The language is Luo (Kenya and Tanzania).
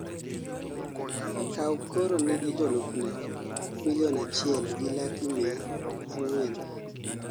Kaw koro nigi jolupne milion achiel gi laki mia ang'wen